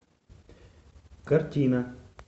картина